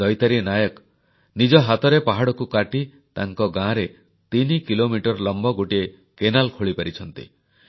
ଦୈତାରୀ ନାୟକ ନିଜ ହାତରେ ପାହାଡ଼କୁ କାଟି ତାଙ୍କ ଗାଁରେ ତିନି କିଲୋମିଟର ଲମ୍ବ ଗୋଟିଏ କେନାଲ ଖୋଳିପାରିଛନ୍ତି